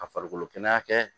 Ka farikolo kɛnɛya kɛ